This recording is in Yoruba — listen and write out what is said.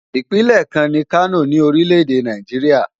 Ìpínlẹ̀ kan ni Kano ní orílẹ̀ èdè Nàìjíríà.